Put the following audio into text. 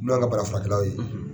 N'o ye an ka bana furakɛlaw ye